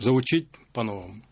заучить по-новому